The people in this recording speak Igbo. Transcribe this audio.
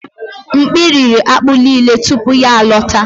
Mkpi riri akpu nile tupu ya alọta.